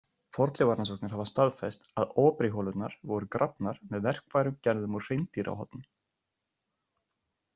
Fornleifarannsóknir hafa staðfest að Aubreyholurnar voru grafnar með verkfærum gerðum úr hreindýrahornum.